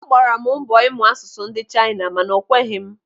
Agbara m mbọ ịmụ asụsụ ndị Chaina mana o kweghị m.